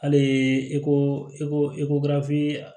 Hali i ko i ko i ko gafe